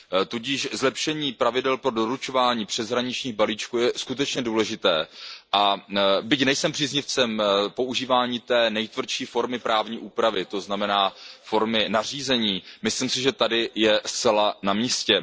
Tudíž zlepšení pravidel pro doručování přeshraničních balíčků je skutečně důležité, a byť nejsem příznivcem používání té nejtvrdší formy právní úpravy, to znamená formy nařízení, myslím si, že tady je zcela na místě.